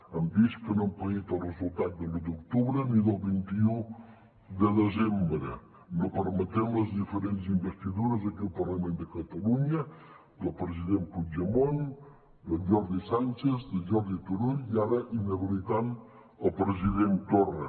hem vist que no han paït el resultat d’u d’octubre ni del vint un de desembre i no han permès les diferents investidures aquí al parlament de catalunya del president puigdemont de jordi sànchez de jordi turull i ara inhabilitant el president torra